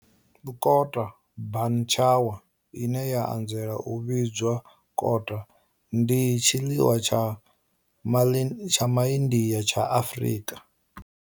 Kota bunny chow, ine ya anzela u vhidzwa kota, ndi tshiḽiwa tsha Ma India tsha Afrika.